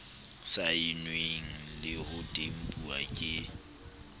saennweng le ho tempuwa ke